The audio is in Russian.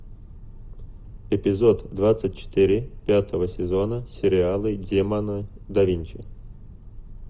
эпизод двадцать четыре пятого сезона сериала демоны да винчи